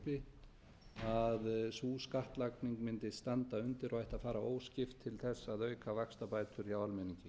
uppi að sú skattlagning mundi standa undir og ætti að fara óskipt til þess að auka vaxtabætur hjá almenningi